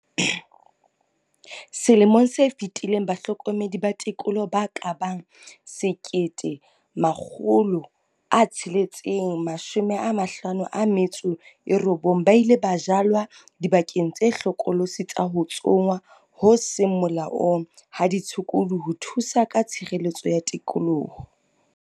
"Selemong se fetileng bahlokomedi ba tikoloho ba ka bang 1 659 ba ile ba jalwa dibakeng tse hlokolosi tsa ho tsongwa ho seng molaong ha ditshukudu ho thusa ka tshireletso ya tikoloho."